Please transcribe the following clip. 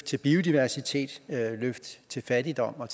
til biodiversitet fattigdom og